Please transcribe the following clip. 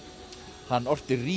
hann orti rímur